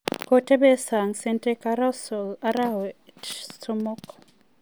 kotebe sang Santi Cazorla arawek somok